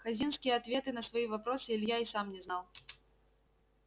хазинские ответы на свои вопросы илья и сам не знал